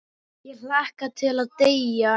Ég hlakka til að deyja.